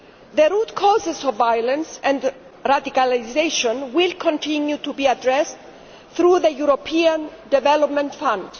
The root causes of violence and radicalisation will continue to be addressed through the European Development Fund.